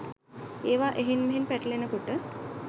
ඒවා එහෙන් මෙහෙන් පැටලෙන කොට